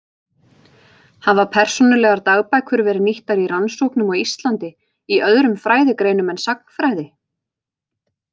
Hafa persónulegar dagbækur verið nýttar í rannsóknum á Íslandi í öðrum fræðigreinum en sagnfræði?